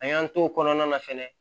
A y'an t'o kɔnɔna na fɛnɛ